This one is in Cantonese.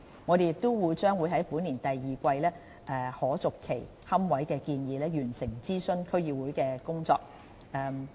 我們也將在本年第二季就可續期龕位的建議完成諮詢區議會的工作。